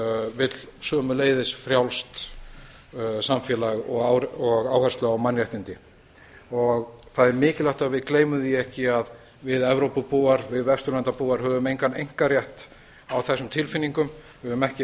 vill sömuleiðis frjálst samfélag og áherslu á mannréttindi það er mikilvægt að við gleymum því ekki að við evrópubúar við vesturlandabúar höfum engan einkarétt á þessum tilfinningum við höfum ekki